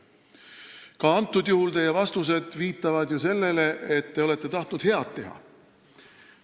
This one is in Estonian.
Ka antud juhul viitavad teie vastused ju sellele, et te olete tahtnud head teha.